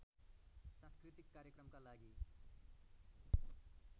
सांस्कृतिक कार्यक्रमका लागि